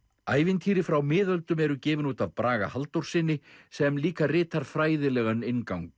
ævitýri frá miðöldum eru gefin út af Braga Halldórssyni sem líka ritar fræðilegan inngang